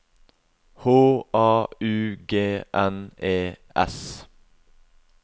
H A U G N E S